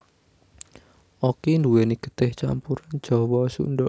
Okky nduwèni getih campuran Jawa Sunda